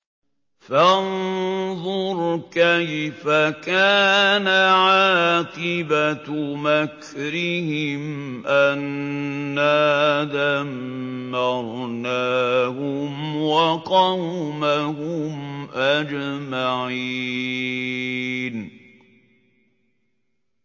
فَانظُرْ كَيْفَ كَانَ عَاقِبَةُ مَكْرِهِمْ أَنَّا دَمَّرْنَاهُمْ وَقَوْمَهُمْ أَجْمَعِينَ